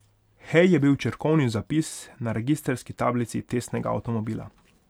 Hej je bil črkovni zapis na registrski tablici testnega avtomobila.